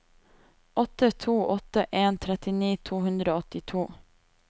åtte to åtte en trettini to hundre og åttito